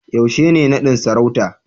yaushe ne nadin sarauta